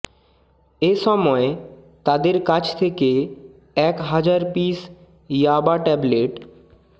এ সময় তাদের কাছ থেকে এক হাজার পিস ইয়াবা ট্যাবলেট